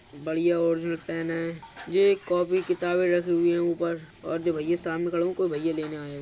बढ़िया और ये पेन है। ये एक कॉपी किताबें रखी हुई हैं ऊपर और जो भय्या सामने खड़े हैं। कोई भय्या लेने आए --